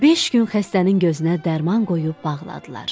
Beş gün xəstənin gözünə dərman qoyub bağladılar.